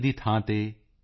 ਦੀ ਥਾਂ ਤੇ ਈ